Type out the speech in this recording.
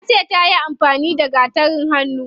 Tace tayi amfani da gatarin hannu.